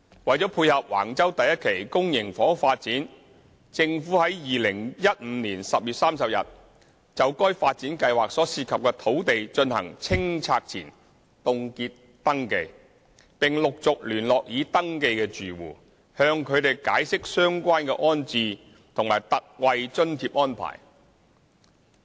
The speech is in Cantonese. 為配合橫洲第1期公營房屋發展，政府於2015年10月30日就該發展計劃所涉及的土地進行清拆前凍結登記，並陸續聯絡已登記的住戶，向他們解釋相關的安置及特惠津貼安排。